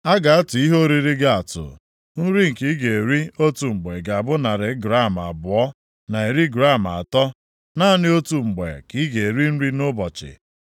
A ga-atụ ihe oriri gị atụ, nri nke ị ga-eri otu mgbe ga-abụ narị gram abụọ na iri gram atọ; naanị otu mgbe ka ị ga-eri nri nʼụbọchị.